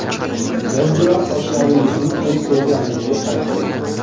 Biz bilan sochlaringizni o‘z ko‘rkamligiga qaytaring!